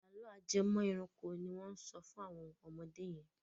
Àlọ́ ajẹmọ́-ẹranko ni wọ́n ń sọ fún àwọn ọmọdé yẹn.